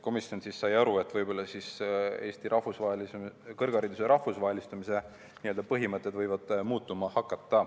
Komisjon sai aru, et Eesti kõrghariduse rahvusvahelistumise põhimõtted võivad muutuma hakata.